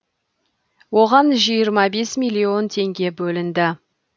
оған жиырма бес миллион теңге бөлінді